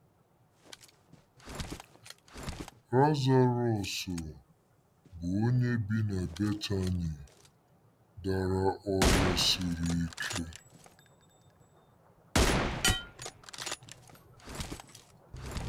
LAZARỌS, bụ́ onye bi na Betani, dara ọrịa siri ike.